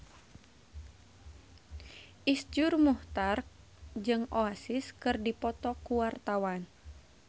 Iszur Muchtar jeung Oasis keur dipoto ku wartawan